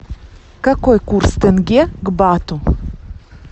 какой курс тенге к бату